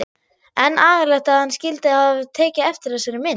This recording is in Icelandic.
En agalegt að hann skyldi hafa tekið eftir þessari mynd.